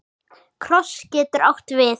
Kross getur átt við